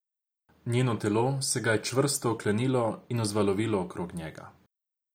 Njeno telo se ga je čvrsto oklenilo in vzvalovilo okrog njega.